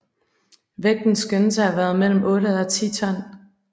Vægten skønnes at have været mellem 8 og 10 ton